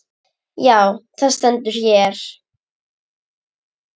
Já, það stendur hér.